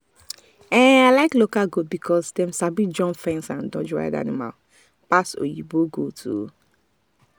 i like local goat because dem sabi jump fence and dodge wild animal pass oyinbo goat.